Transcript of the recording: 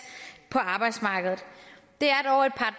på arbejdsmarkedet det